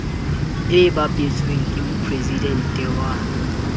e bapetsweng ke mopresidente wa